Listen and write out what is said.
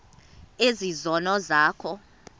ezi zono zakho